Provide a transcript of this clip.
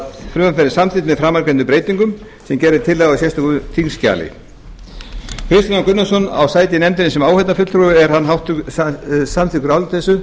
frumvarpið verði samþykkt með framangreindum breytingum sem gerð er tillaga um á sérstöku þingskjali kristinn h gunnarsson á sæti í nefndinni sem áheyrnarfulltrúi og er hann samþykkur áliti þessu